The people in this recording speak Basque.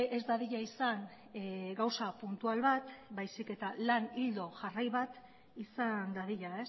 ez dadila izan gauza puntual bat baizik eta lan ildo jarrai bat izan dadila